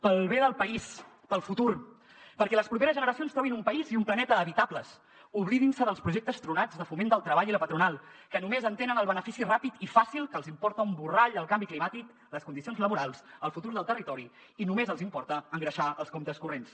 pel bé del país pel futur perquè les properes generacions trobin un país i un planeta habitables oblidin se dels projectes tronats de foment del treball i la patronal que només entenen el benefici ràpid i fàcil que els importa un borrall el canvi climàtic les condicions laborals el futur del territori i només els importa engreixar els comptes corrents